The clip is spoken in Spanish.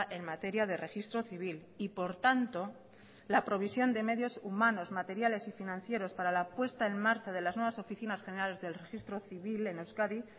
en materia de registro civil y por tanto la provisión de medios humanos materiales y financieros para la puesta en marcha de las nuevas oficinas generales del registro civil en euskadi